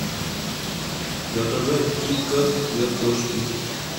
заказать киткат для кошки